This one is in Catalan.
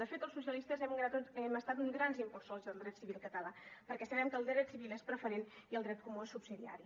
de fet els socialistes hem estat uns grans impulsors del dret civil català perquè sabem que el dret civil és preferent i el dret comú és subsidiari